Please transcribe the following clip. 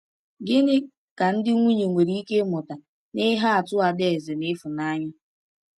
Gịnị ka ndị nwunye nwere ike ịmụta n’ihe atụ Adaeze na Ifunanya?